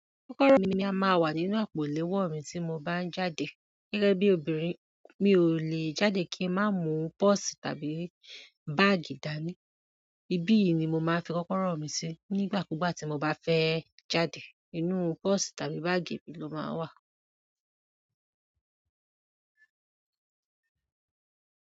Kọ́kọ́rọ́ mi a máa wà nínú àpò ìléwọ̀ mi tí mo bá ń jáde. Gẹ́gẹ́ bí obìnrin, mi ò lè jáde kí ń má mu pọ́ọ̀sì tàbí báàgì dání. Ibi yìí ni mo máa ń fi kọ́kọ́rọ́ mi sí nígbà kúgbà tí mo bá fẹ́ jáde. Inú pọ́ọ̀sì tàbí báàgì mi ló máa ń wà.